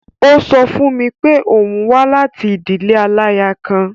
Ó sọ fún mi pé òun wá láti ìdílé aláya kan.